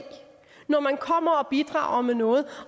når man kommer og bidrager med noget